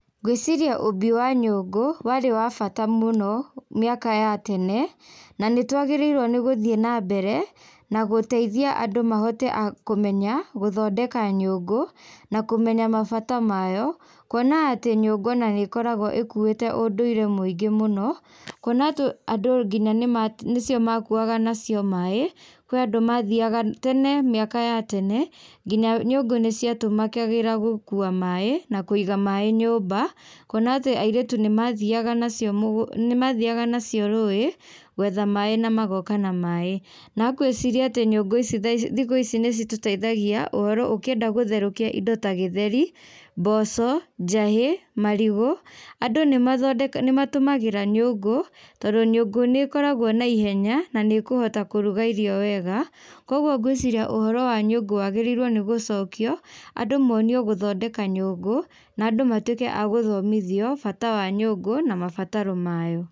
Ngwĩciria ũũmbi wa nyũngũ warĩ wa bata mũno mĩaka ya tene, na nĩtwagĩrĩirwo nigũthiĩ nambere na gũteithia andũ mahote a kũmenya gũthondeka nyũngũ na kũmenya mabata mayo kuona atĩ nyũngũ ona nĩkoragwo ĩkuĩte ũndũire mũingĩ mũno, kũona atĩ andũ nginya nĩma nĩcio makuaga nacio maĩ kurĩa andũ mathiaga tene mĩaka ya tene nginya nyũngũ nĩciatũmĩkagĩra gũkua maĩ na kũiga maĩ nyũmba kuona atĩ airĩtu nĩmathiaga nacio mũgũ nĩmathiaga nacio rũĩ gwetha maĩ na magoka na maĩ na ngwĩciria atĩ nyũngũ ici thaici thikũ ici nĩcitũteithagia ũhoro ũkĩenda gũtherũkia indo ta gĩtheri, mboco, njahĩ, marigũ andũ nĩmathonde nĩmatũmagĩra nyũngũ tondũ nyũngũ nĩkoragwo na ihenya na nĩkũhota kũruga irio wega koguo ngwĩciria ũhoro wa nyũngũ wagĩrĩirwo nĩ gũcokio andũ monio gũthondeka nyũngũ na andũ matũĩke a gũthomothio bata wa nyũngũ na mabataro mayo.